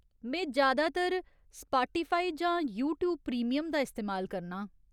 में ज्यादातर स्पाटीफाई जां यूट्यूब प्रीमियम दा इस्तेमाल करनां।